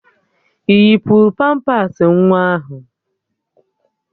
Ị yipuru pampas nwa ahụ?